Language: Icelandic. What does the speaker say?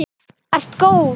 Þú ert góð!